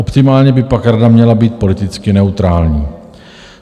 Optimálně by pak rada měla být politicky neutrální.